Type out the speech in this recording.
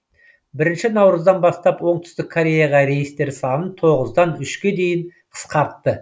бірінші наурыздан бастап оңтүстік кореяға рейстер санын тоғыздан үшке дейін қысқартты